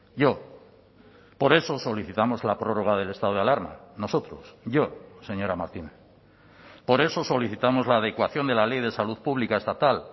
yo por eso solicitamos la prórroga del estado de alarma nosotros yo señora martínez por eso solicitamos la adecuación de la ley de salud pública estatal